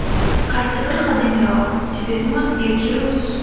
Qaysi biri qadimiyroq – Tibetmi yoki Rus?